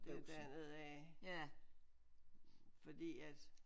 Det er derned af fordi at